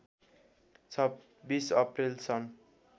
२६ April सन्